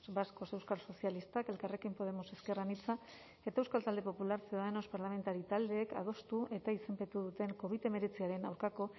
vascos euskal sozialistak elkarrekin podemos ezker anitza eta euskal talde popular ciudadanos parlamentari taldeek adostu eta izenpetu duten covid hemeretziaren aurkako